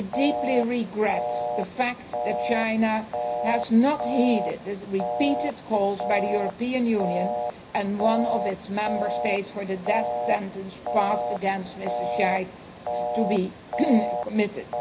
It deeply regrets the fact that China did not heed repeated calls by the European Union and one of its Member States for the death sentenced passed against Mr Shaikh to be commuted.